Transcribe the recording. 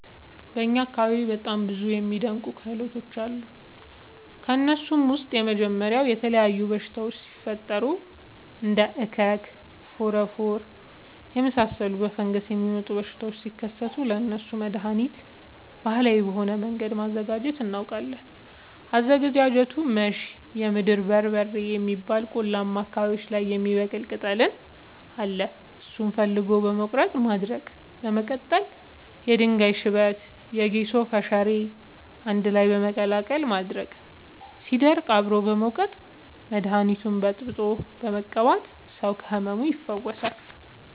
በእኛ አካባቢ በጣም ብዙ እና የሚደናንቅ ክህሎቶች አሉ። ከእነሱም ውስጥ የመጀመሪያው የተለያዩ በሽታወች ሲፈጠሪ እንደ እከክ ፎረፎር የመሳሰሉ በፈንገስ የሚመጡ በሽታዎች ሲከሰቱ ለእነሱ መደሀኒት ባህላዊ በሆነ መንገድ ማዘጋጀት እናውቃለን። አዘገጃጀቱመሸ የምድር በርበሬ የሚባል ቆላማ አካባቢዎች ላይ የሚበቅል ቅጠል አለ እሱን ፈልጎ በመቀለረጥ ማድረቅ በመቀጠልም የድንጋይ ሽበት የጌሾ ፈሸሬ አንድላይ በመቀላቀል ማድረቅ ሲደርቅ አብሮ በመውቀጥ መደኒቱን በጥብጦ በመቀባት ሰው ከህመሙ ይፈወሳል።